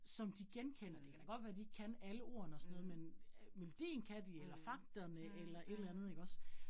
Som de genkender, det kan da godt være de ikke kan alle ordene og så noget, men øh melodien kan de eller fagterne eller et eller andet ikke også